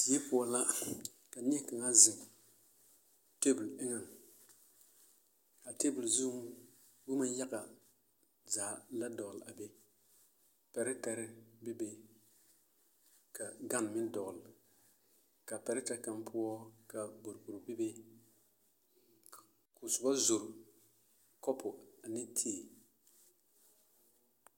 Die poɔ la ka neɛ kaŋa zeŋ teebol eŋɛŋ, a teebol zuŋ boma yaga zaa la dɔgele a be, pɛrɛtɛrɛ bebe ka gane meŋ dɔgele k'a pɛrɛtɛ kaŋ poɔ ka boroboro bebe k'o soba zori kɔpo ane tii.